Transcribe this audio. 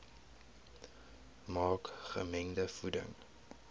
maak gemengde voeding